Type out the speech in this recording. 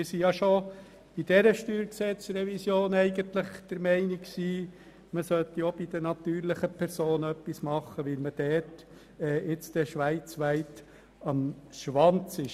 Wir waren schon bei dieser StG-Revision der Meinung, dass man auch für die natürlichen Personen etwas tun sollte, weil wir in diesem Bereich schweizweit am hinteren Ende liegen.